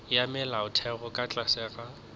ya molaotheo ka tlase ga